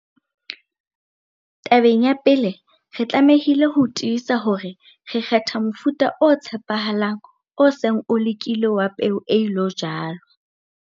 Tabeng ya pele, re tlamehile ho tiisa hore re kgetha mofuta o tshepahalang, o seng o lekilwe wa peo e ilo jalwa.